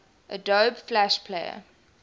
adobe flash player